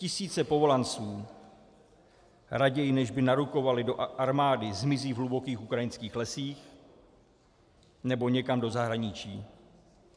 Tisíce povolanců raději, než by narukovali do armády, zmizí v hlubokých ukrajinských lesích nebo někam do zahraničí.